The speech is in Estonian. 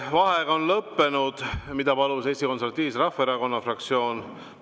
Vaheaeg on lõppenud, seda palus Eesti Konservatiivse Rahvaerakonna fraktsioon.